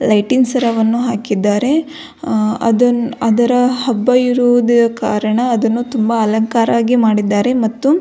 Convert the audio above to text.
lighting ಸರವನ್ನು ಹಾಕಿದ್ದಾರೆ ಅದರ ಹಬ್ಬ ಇರುವುದ ಕಾರಣ ಅದನ್ನು ತುಂಬ ಅಲಂಕಾರವಾಗಿ ಮಾಡಿದ್ದಾರೆ ಮತ್ತು --